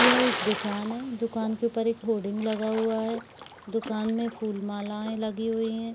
यह एक दुकान है दुकान के उपर एक होर्डिंग लगा हुआ है दुकान में फुल मालाए लगी हुई हैं।